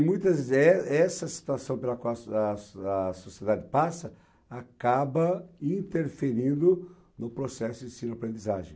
E, muitas, eh, essa situação pela qual a so a a sociedade passa acaba interferindo no processo de ensino e aprendizagem.